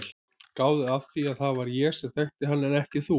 Gáðu að því að það var ég sem þekkti hann en ekki þú.